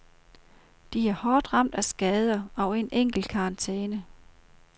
De er hårdt ramt af skader og en enkelt karantæne.